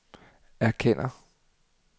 erkender